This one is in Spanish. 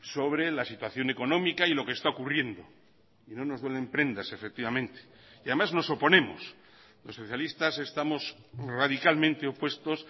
sobre la situación económica y lo que está ocurriendo y no nos duelen prendas efectivamente y además nos oponemos los socialistas estamos radicalmente opuestos